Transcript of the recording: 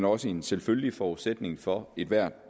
også en selvfølgelig forudsætning for ethvert